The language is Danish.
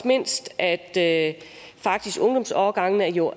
mindst at at ungdomsårgangene jo